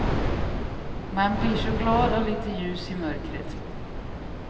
Man blir så glad av lite ljus i mörkret.